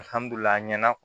a ɲɛna